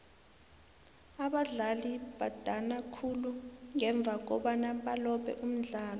abadlali badana khulu ngemva kobana balobe umdlalo